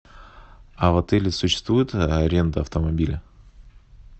а в отеле существует аренда автомобиля